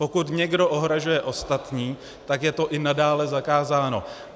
Pokud někdo ohrožuje ostatní, tak je to i nadále zakázáno.